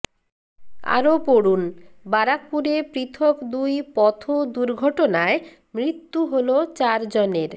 আরও পড়ুন বারাকপুরে পৃথক দুই পথ দুর্ঘটনায় মৃত্যু হল চারজনের